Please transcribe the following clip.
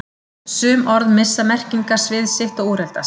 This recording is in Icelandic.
Sum orð missa merkingarsvið sitt og úreldast.